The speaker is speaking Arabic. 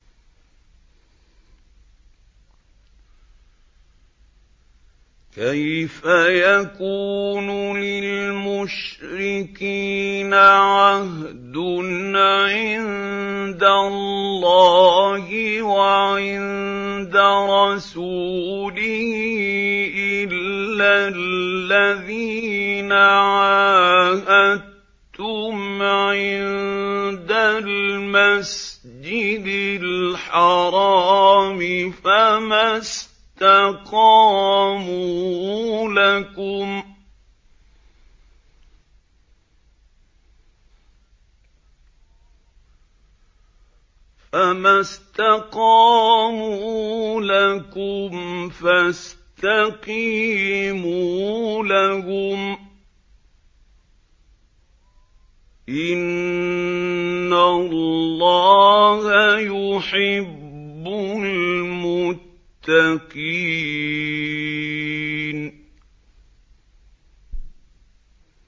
كَيْفَ يَكُونُ لِلْمُشْرِكِينَ عَهْدٌ عِندَ اللَّهِ وَعِندَ رَسُولِهِ إِلَّا الَّذِينَ عَاهَدتُّمْ عِندَ الْمَسْجِدِ الْحَرَامِ ۖ فَمَا اسْتَقَامُوا لَكُمْ فَاسْتَقِيمُوا لَهُمْ ۚ إِنَّ اللَّهَ يُحِبُّ الْمُتَّقِينَ